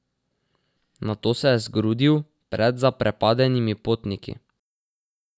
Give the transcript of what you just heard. Nato se je zgrudil pred zaprepadenimi potniki.